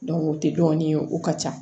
o tɛ dɔw ye o ka ca